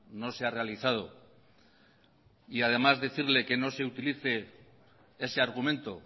no se ha realizado y además decirle que no se utilice ese argumento